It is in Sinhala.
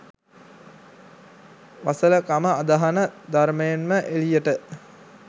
වසල කම අදහන ධර්මයෙන්ම එලියට.